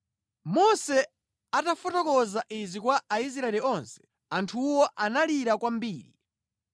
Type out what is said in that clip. Mose atafotokoza izi kwa Aisraeli onse, anthuwo analira kwambiri.